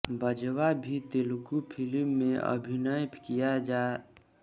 बाजवा भी तेलुगू फिल्म में अभिनय किया राजा के साथसाथनागार्जुन अक्किनेनी और त्रिशा